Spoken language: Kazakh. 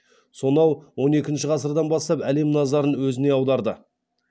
сонау он екінші ғасырдан бастап әлем назарын өзіне аударды